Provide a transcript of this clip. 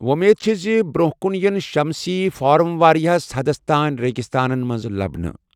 وۄمید چِھ زِ برۄنٛہہ کُن یِن شمسی فارم واریاہَس حدَس تانۍ ریگستانَن منٛز لَبنہٕ۔